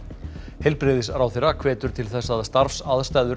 heilbrigðisráðherra hvetur til þess að starfsaðstæður